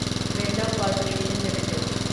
Birla corporation limited